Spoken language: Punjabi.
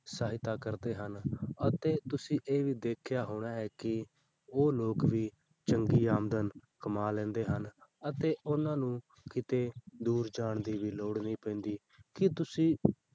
ਸਹਾਇਤਾ ਕਰਦੇ ਹਨ ਅਤੇ ਤੁਸੀਂ ਇਹ ਵੀ ਦੇਖਿਆ ਹੋਣਾ ਹੈ ਕਿ ਉਹ ਲੋਕ ਵੀ ਚੰਗੀ ਆਮਦਨ ਕਮਾ ਲੈਂਦੇ ਹਨ ਅਤੇ ਉਹਨਾਂ ਨੂੰ ਕਿਤੇ ਦੂਰ ਜਾਣ ਦੀ ਵੀ ਲੋੜ ਨਹੀਂ ਪੈਂਦੀ ਕੀ ਤੁਸੀਂ